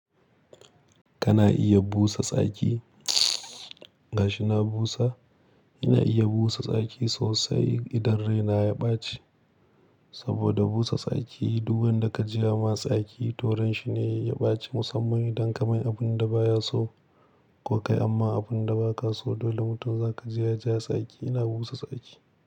Kana iya busa tsaki? Gashi na busa. Ina iya busa tsaki sosai idan raina ya ɓace. Saboda busa tsaki duk wanda ka jira ma tsaki to rashin ne ya ɓace musamman idan ka mai abun da ba ya so ko kai amma abun da ba ka so dole mutum za ka jira ja tsaki. Ina busa tsaki.